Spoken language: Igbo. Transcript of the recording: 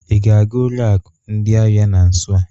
Ị ga-aga ụlọ akụ ndị ahịa na nso a?